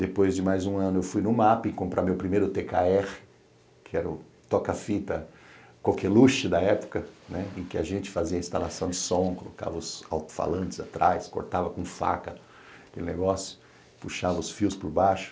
Depois de mais um ano eu fui no ma pi comprar meu primeiro tê quê erre, que era o toca-fita coqueluche da época, em que a gente fazia instalação de som, colocava os alto-falantes atrás, cortava com faca aquele negócio, puxava os fios por baixo.